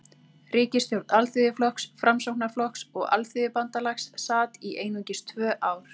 Ríkisstjórn Alþýðuflokks, Framsóknarflokks og Alþýðubandalags sat í einungis tvö ár.